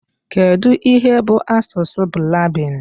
Kedụ ihe bụ asụsụ Blaabin?